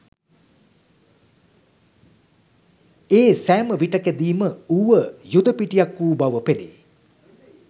ඒ සෑමවිටෙකදීම ඌව යුද පිටියක් වූ බව පෙනේ.